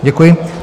Děkuji.